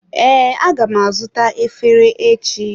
Ee, aga m azụta efere echi.